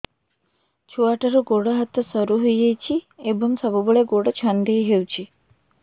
ଛୁଆଟାର ଗୋଡ଼ ହାତ ସରୁ ହୋଇଯାଇଛି ଏବଂ ସବୁବେଳେ ଗୋଡ଼ ଛଂଦେଇ ହେଉଛି